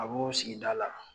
A b'o sigida la.